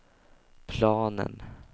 planen